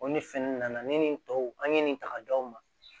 O ni fɛn nunnu nana ne ni nin tɔw an ye nin ta ka da o ma